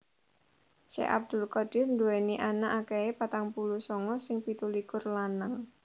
Syekh Abdul Qadir nduwèni anak akèhé patang puluh sanga sing pitulikur lanang